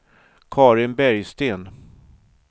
Carin Bergsten